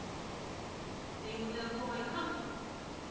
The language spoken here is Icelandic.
Eigum við að koma í kapp?